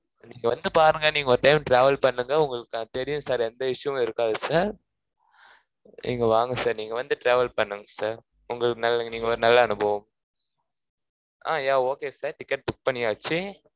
நீங்க வந்து பாருங்க, நீங்க ஒரு time travel பண்ணுங்க. உங்களுக்கு தான் தெரியும் sir எந்த issue வும் இருக்காது sir இங்க வாங்க sir நீங்க வந்து travel பண்ணுங்க sir உங்களுக்கு நல்ல~. நீங்க ஒரு நல்ல அனுபவம் அஹ் yeah okay sir ticket book பண்ணியாச்சு.